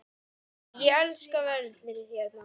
Nei, ég elska veðrið hérna!